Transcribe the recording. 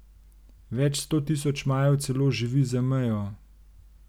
Več sto tisoč Majev celo živi za mejo.